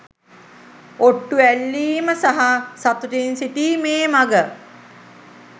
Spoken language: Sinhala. ඔට්ටු ඇල්ලීම සහ සතුටින් සිටීමේ මග